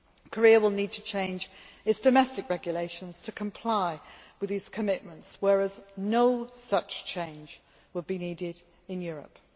Korea will need to changes its domestic regulations to comply with these commitments, whereas no such change would be needed in Europe.